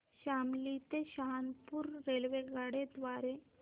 शामली ते सहारनपुर रेल्वेगाड्यां द्वारे